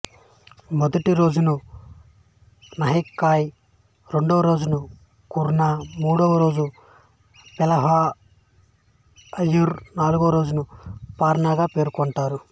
మొదటి రోజును నహాయ్ ఖాయ్ రెండోరోజును ఖర్నా మూడవ రోజును పెహలా ఆర్ఘ్య్ నాలుగవరోజును పార్నాగా పేర్కొంటారు